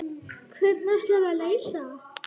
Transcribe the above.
Hvernig ætlarðu að leysa það?